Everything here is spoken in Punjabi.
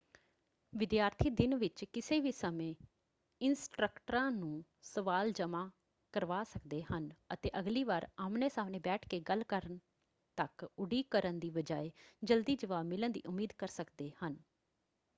ਵਿਦਿਆਰਥੀ ਦਿਨ ਵਿੱਚ ਕਿਸੇ ਵੀ ਸਮੇਂ ਇੰਸਟ੍ਰੱਕਟਰਾਂ ਨੂੰ ਸਵਾਲ ਜਮ੍ਹਾ ਕਰਵਾ ਸਕਦੇ ਹਨ ਅਤੇ ਅਗਲੀ ਵਾਰ ਆਹਮਣੇ-ਸਾਹਮਣੇ ਬੈਠ ਕੇ ਗੱਲ ਕਰਨ ਤੱਕ ਉਡੀਕ ਕਰਨ ਦੀ ਬਜਾਏ ਜਲਦੀ ਜਵਾਬ ਮਿਲਣ ਦੀ ਉਮੀਦ ਕਰ ਸਕਦੇ ਹਨ।